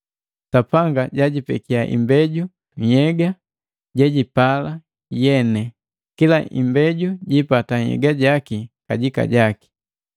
Sapanga jijipeke imbeju nhyega gojupala mweni, kila imbeju jipata nhyega jaki kajika.